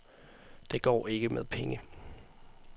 Det går ikke med penge.